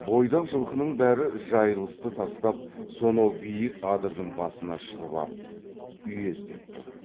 бойдақ жылқының бәрі жайылысты тастап сонау биік адырдың басына шығып ап үйездеп тұр